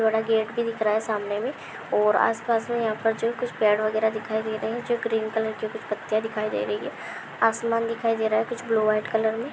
बड़ा गेट भी दिख रहा है सामने में और आसपास मे यहाँ पर जो कुछ पेड़ बगैरहा दिखाई दे रहे है जो ग्रीन कलर की कुछ पत्तिया दिखाई दे रही है आसमान दिखाई दे रहा है कुछ ब्लू व्हाइट कलर मे ।